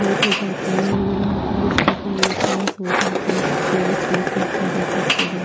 Late हो जाती हैं। वो लोग यहाँ पर स्टिकर लेते हैं सो जाते हैं। काफी ऑवर्स वेट करते हैं बेंचेस पर बैठ --